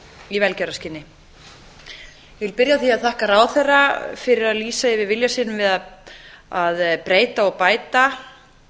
í velgjörðarskyni ég vil byrja á því að þakka ráðherra fyrir að lýsa yfir vilja sínum við að breyta og bæta